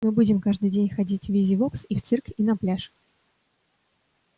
мы будем каждый день ходить в визивокс и в цирк и на пляж